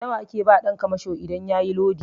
Nawa ake ba ɗan kamasho idan yayi lodi?